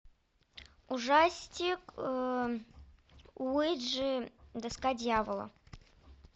ужастик уиджи доска дьявола